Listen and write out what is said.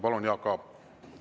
Palun, Jaak Aab!